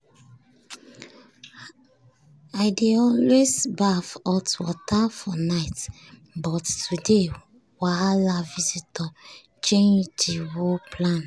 i dey always baff hot water for night but today wahala visitors change the whole plan.